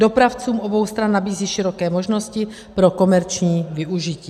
Dopravcům obou stran nabízí široké možnosti pro komerční využití.